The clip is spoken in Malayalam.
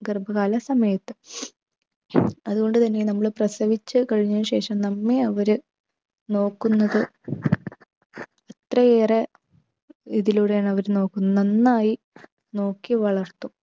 ഗർഭകാല സമയത്ത്. അതുകൊണ്ട് തന്നെ നമ്മളെ പ്രസവിച്ച് കഴിഞ്ഞ ശേഷം നമ്മെ അവര് നോക്കുന്നത് അത്രയേറെ ഇതിലൂടെയാണ് അവർ നോക്കുന്നത്. നന്നായി നോക്കി വളർത്തും